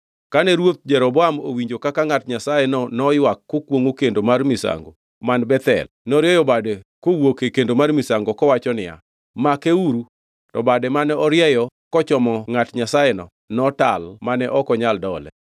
Kane ruoth Jeroboam owinjo kaka ngʼat Nyasayeno noywak kokwongʼo kendo mar misango man Bethel norieyo bade kowuok e kendo mar misango kowacho niya, “Makeuru!” To bade mane orieyono kochomo ngʼat Nyasayeno notal mane ok onyal dole.